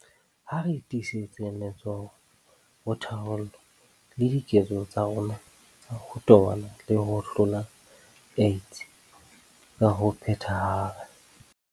Ha re tiisetseng letsoho ho tharollo le diketso tsa rona tsa ho tobana le ho hlola AIDS ka ho phethahala.